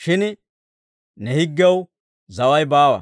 shin ne higgiyaw zaway baawa.